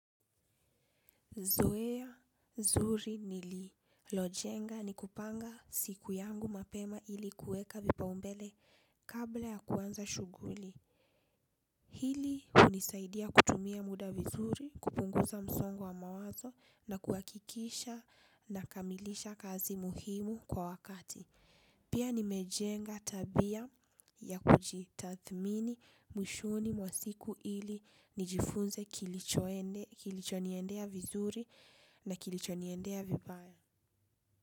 Zoea zuri nililojenga ni kupanga siku yangu mapema ili kueka vipaumbele kabla ya kuanza shughuli. Hili hunisaidia kutumia muda vizuri, kupunguza msongo wa mawazo na kuhakikisha nakamilisha kazi muhimu kwa wakati. Pia nimejenga tabia ya kujitathmini mwishoni mwa siku ili nijifunze kilicho niendea, vizuri na kilicho niendea vibaya.